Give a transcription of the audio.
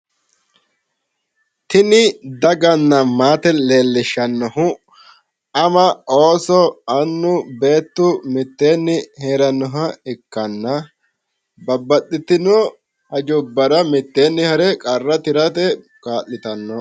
Tini daganna maate leellishshannohu ama ooso annu beettu mitteeenni heerannoha ikkanna, babbaxitino hajjubbara mitteenni hare qarra tirate kaa'litanno.